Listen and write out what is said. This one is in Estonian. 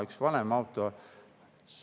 Üks vanem auto.